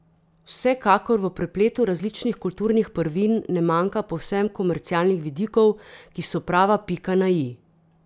Vsekakor v prepletu različnih kulturnih prvin ne manjka povsem komercialnih vidikov, ki so prava pika na i.